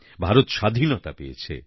ভারত স্বাধীনতা পেয়েছে